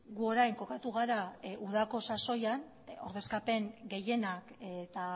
gu orain kokatu gara udako sasoian ordezkapen gehienak eta